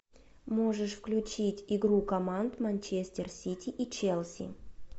можешь включить игру команд манчестер сити и челси